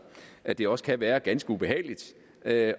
at det også kan være ganske ubehageligt at